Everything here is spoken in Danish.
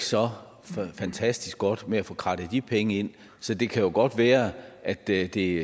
så fantastisk godt med at få krattet de penge ind så det kan jo godt være at det det